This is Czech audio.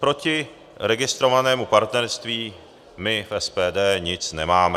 Proti registrovanému partnerství my v SPD nic nemáme.